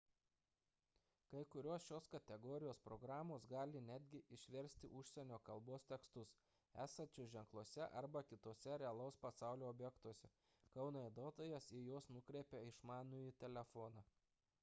kai kurios šios kategorijos programos gali netgi išversti užsienio kalbos tekstus esančius ženkluose arba kituose realaus pasaulio objektuose kai naudotojas į juos nukreipia išmanųjį telefoną